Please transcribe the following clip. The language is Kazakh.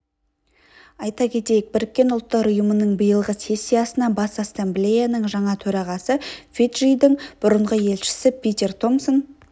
айта кетейік біріккен ұлттар ұйымының биылғы сессиясына бас ассамблеяның жаңа төрағасы фиджидің бұрынғы елшісі питер томсон